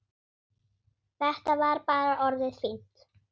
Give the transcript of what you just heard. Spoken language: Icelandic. Þetta var bara orðið fínt.